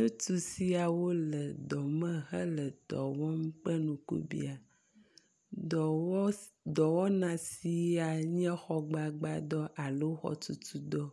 ɣetusiawo le dɔme hele dɔwɔm kpe nukubiã dɔwɔ dɔwɔna sia nye xɔ gbagbã dɔ alo xɔtutudɔ,